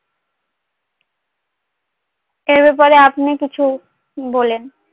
এ ব্যাপারে আপনি কিছু বলেন